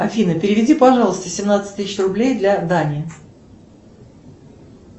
афина переведи пожалуйста семнадцать тысяч рублей для дани